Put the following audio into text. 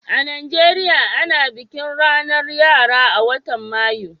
a'Nijeriya, ana bikin ranan yara a'wotan Mayu.